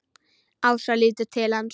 Ása lítur til hans.